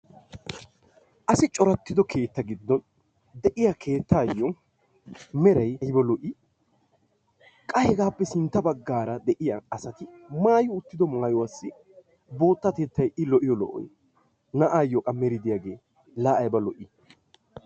Asi corattido keetta giddon de'iya keettayyo meray ayba lo''ii? qa hegaappe sintta baggaara de'iya asati maayi uttido maayuwa boottay I lo''iyo lo''oy! na'aayyo qa meri diyagee la ayba lo''i!.